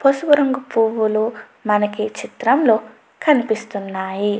పసుపు రంగు పువ్వులు మనకి చిత్రం లో కనిపిస్తున్నాయి.